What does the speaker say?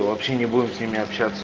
вообще не будем с ними общаться